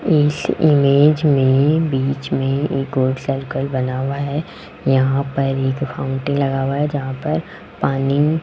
इस इमेज में बीच में एक और सर्कल बना हुआ है यहां पर एक फाउंटेंन लगा हुआ है जहां पर पानी --